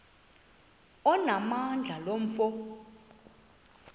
onamandla lo mfo